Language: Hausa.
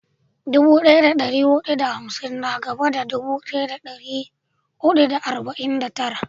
Dubu daya da dari hudu da hamsin na gaban dubu daya da dari hudu da arba'in da tara